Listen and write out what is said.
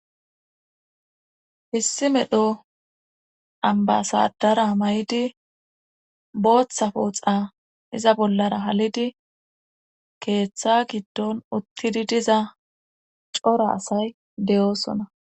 Hissi medho ambasadara may'idi booththa pooxa iza bollara halidi keeththa giddon uttidi diza cora asay deyoosona.